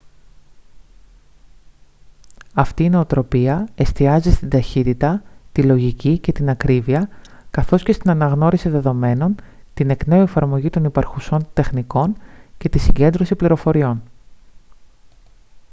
αυτή η νοοτροπία εστιάζει στην ταχύτητα τη λογική και την ακρίβεια καθώς και στην αναγνώριση δεδομένων την εκ νέου εφαρμογή των υπαρχουσών τεχνικών και τη συγκέντρωση πληροφοριών